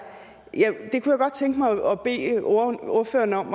godt tænke mig at bede ordføreren om